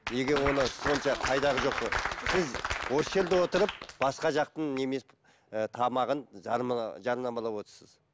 неге оны сонша қайдағы жоқ ы сіз осы жерде отырып басқа жақтың ііі тамағын жарнамалап отырсыз